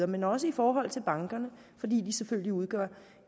men også i forhold til bankerne fordi de selvfølgelig udgør